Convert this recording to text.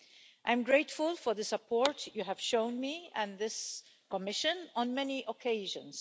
I am grateful for the support you have shown me and this Commission on many occasions.